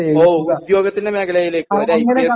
ഉവ്വ് ഉവ്വ് ഉദ്യോഗത്തിന്റെ മേഖലയിലേക്ക് ഐ പി എസ്